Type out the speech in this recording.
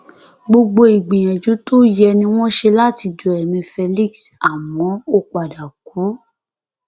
gbogbo ìgbìyànjú tó yẹ ni wọn ṣe láti du ẹmí felix àmọ ó padà kú